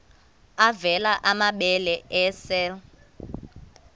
avela amabele esel